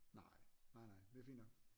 Nej nej nej det er fint nok